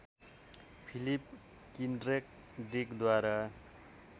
Philip Kindred डिकद्वारा